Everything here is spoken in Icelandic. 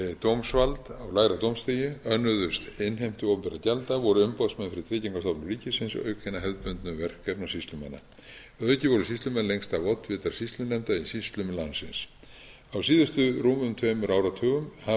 dómsvald á æðra dómstigi önnuðust innheimtu opinberra gjalda voru umboðsmenn fyrir tryggingastofnun ríkis auk hinna hefðbundnu verkefna sýslumanna að auki voru sýslumenn lengst af oddvitar sýslunefnda í sýslum landsins á síðustu rúmum tveimur áratugum hafa